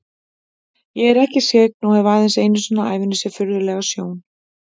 Ég er ekki skyggn og hef aðeins einu sinni á ævinni séð furðulega sjón.